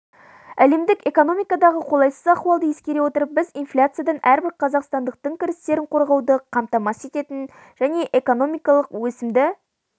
әлемдік экономикадағы қолайсыз ахуалды ескере отырып біз инфляциядан әрбір қазақстандықтың кірістерін қорғауды қамтамасыз ететін және экономикалық өсім